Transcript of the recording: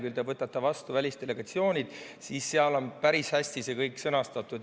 Kui te võtate lahti "Töö välisdelegatsioonides", siis seal on päris hästi see kõik sõnastatud.